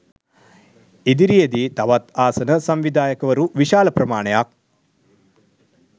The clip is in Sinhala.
ඉදිරියේදී තවත් ආසන සංවිධායකවරු විශාල ප්‍රමාණයක්